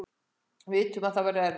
Við vitum að það verður erfitt